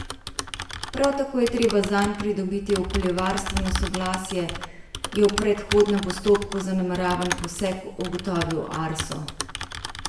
Prav tako je treba zanj pridobiti okoljevarstveno soglasje, je v predhodnem postopku za nameravan poseg ugotovil Arso.